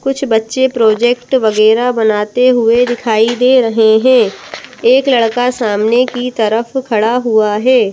कुछ बच्चे प्रोजेक्ट वगैरह बनाते हुए दिखाई दे रहे हैं एक लड़का सामने की तरफ खड़ा हुआ है।